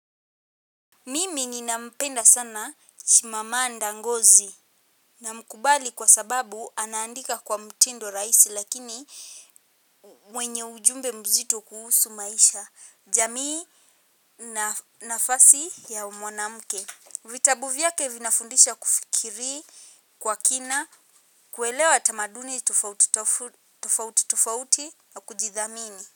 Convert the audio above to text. Mimi ninampenda sana chimamanda ngozi na mkubali kwa sababu anaandika kwa mtindo rahisi lakini mwenye ujumbe mzito kuhusu maisha jamii na nafasi ya mwanamke. Vitabu vyake vinafundisha kufikiri kwa kina kuelewa tamaduni tufauti tufauti tufauti na kujidhamini.